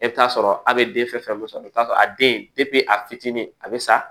E bɛ t'a sɔrɔ a bɛ den fɛn fɛn sɔrɔ a bɛ t'a sɔrɔ a den a fitinin a bɛ sa